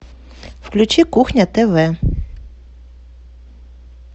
включи кухня тв